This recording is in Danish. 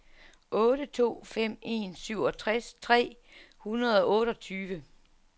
otte to fem en syvogtres tre hundrede og otteogtyve